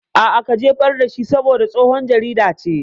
A'a, ka jefar dashi saboda tsohon jarida ce